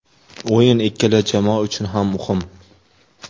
O‘yin ikkala jamoa uchun ham muhim.